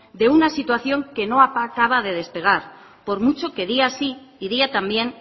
de una situación que no acaba de despegar por mucho que día sí y día también